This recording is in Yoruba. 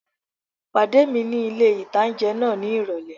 Pàdé mi ní ilé-ìtánjẹ náà ní ìrọ̀lẹ́